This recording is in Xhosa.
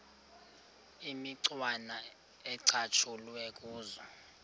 imicwana ecatshulwe kuzo